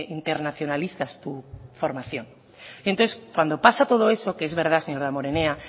internacionalizas tu formación entonces cuando pasa todo eso que es verdad señor damborenea